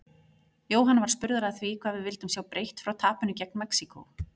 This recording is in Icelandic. Jóhann var spurður að því hvað við vildum sjá breytt frá tapinu gegn Mexíkó?